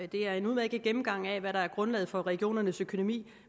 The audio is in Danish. det er en udmærket gennemgang af hvad der er grundlaget for regionernes økonomi